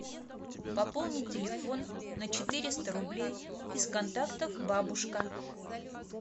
пополнить телефон на четыреста рублей из контактов бабушка